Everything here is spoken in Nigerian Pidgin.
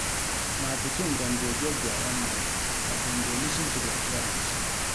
My pikin dem dey get their own mind but dem dey lis ten to their parents.